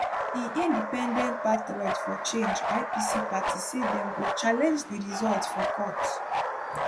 im independent patriots for change ipc party say dem go challenge di results for court